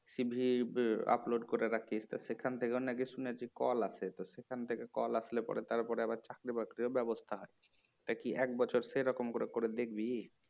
CV upload করে রাখিস তা সেখান থেকে নাকি শুনেছি কল আসে তো সেখান থেকে কল আসলে পরে তারপরে আবার চাকরি বাকরির ব্যবস্থা আছে তা কি এক বছর সেরকম করে করে দেখবি? "